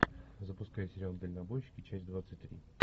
запускай сериал дальнобойщики часть двадцать три